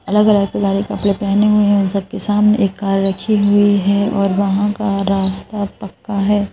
अलग अलग खिलाड़ी कपड़े पहने हुए हैं जबकि सामने एक कार रखी हुई है और वहां का रास्ता पक्का है।